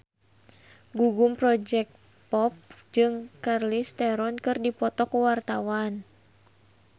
Gugum Project Pop jeung Charlize Theron keur dipoto ku wartawan